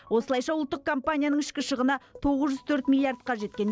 осылайша ұлттық компанияның ішкі шығыны тоғыз жүз төрт миллиардқа жеткен